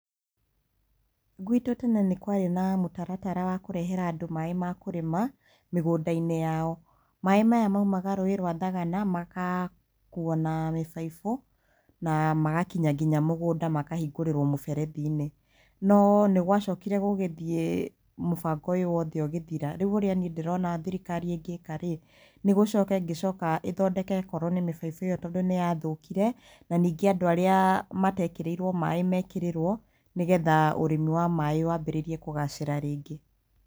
Guitũ tene nĩ kũrarĩ na mũtaratara wa kũrehera andũ maaĩ ma kũrĩma mĩgũnda-inĩ yao. Maaĩ maya maumaga rũĩ rwa thagana, magakuo na mĩbaibũ na magakinya nginya mũgũnda, makahingũrĩrwo mũberethi-inĩ. No nĩ gwacokire gũgĩthiĩ, mũbango ũyũ wothe ũgĩthira. Rĩu ũrĩa niĩ ndĩrona thirikari ĩngĩka rĩ, nĩ gũcoka ĩngĩcoka ĩthondeke korwo nĩ mĩbaibũ ĩyo tondũ nĩ yathũkire, na ningĩ andũ arĩa mateeĩkĩrĩirwo maaĩ meekĩrĩrwo nĩgetha ũrĩmi wa maaĩ waambĩrĩirie kũgacĩra rĩngĩ.